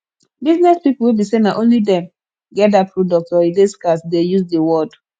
business pipo wey be say na only dem get that product or e de scarce de use di word